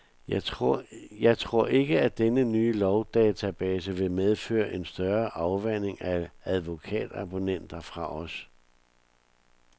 Jeg tror ikke, at denne nye lovdatabase vil medføre en større afvandring af advokatabonnenter fra os.